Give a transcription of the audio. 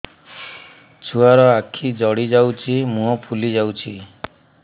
ଛୁଆର ଆଖି ଜଡ଼ି ଯାଉଛି ମୁହଁ ଫୁଲି ଯାଇଛି